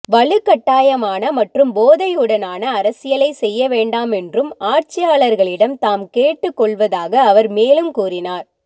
வலுக்கட்டாயமான மற்றும் போதையுடனான அரசியலை செய்ய வேண்டாம் என்றும் ஆட்சியாளர்களிடம் தாம் கேட்டுக் கொள்வதாக அவர் மேலும் கூறினார்